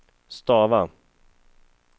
stava